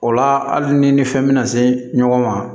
O la hali ni fɛn bɛna se ɲɔgɔn ma